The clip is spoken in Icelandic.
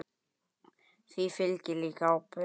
Því fylgir líka ábyrgð.